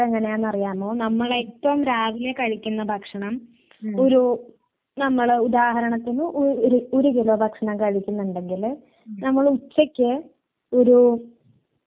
വീട്ടിലങ്ങനെ പുറത്തുന്നുള്ള ഭക്ഷണം കഴിക്കാറില്ല. ഇവിടെ രാവിലത്തെ കാപ്പി ഉച്ചയ്ക്കത്തെ ചോറ് രാത്രി ചോറ് വേറെ പുറത്തീന്ന് വാങ്ങുവെങ്കിൽ പലാരം മാത്രമേ വാങ്ങു